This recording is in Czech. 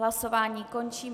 Hlasování končím.